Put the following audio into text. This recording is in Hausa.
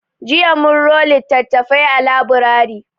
Jiya mun ro littattafai a laburari.